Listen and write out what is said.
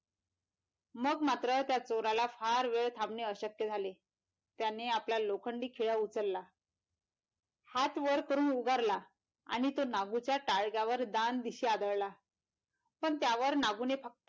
मग मात्र त्या चोराला फार वेळ थांबणं अशक्य झाले त्याने आपला लोखंडी खिळा उचलला हात वर करून उभारला आणि तो नागूच्या टाळक्यावर दान दिशी आदळला पण त्यावर नागूने फक्त,